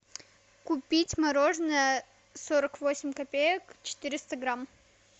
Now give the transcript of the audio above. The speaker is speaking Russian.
купить мороженое сорок восемь копеек четыреста грамм